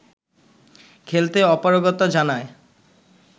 খেলতে অপারগতা জানায়